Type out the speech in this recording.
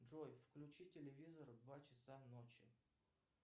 джой включи телевизор в два часа ночи